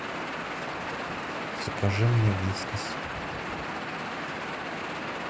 закажи мне вискас